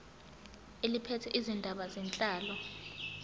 eliphethe izindaba zenhlalo